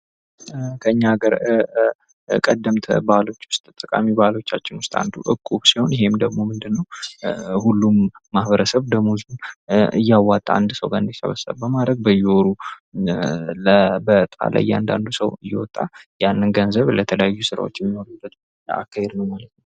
ከኛ ሀገር ቀደምት ባህሎቻችን ውስጥ ጠቃሚ ባህሎቻችን ውስጥ አንዱ እቁብ ሲሆን ይህ ደግሞ ምንድነው ሁሉም ማህበረሰብ ደመወዙን እያወጣ በአንድ ሰው እንዲሰበሰብ በማድረግ በየወሩ በዕጣ ለእያንዳንዱ ሰው እየወጣ ያንን ገንዘብ ለተለያዩ ስራዎች የሚያውሉበት አካሄድ ነው ማለት ነው።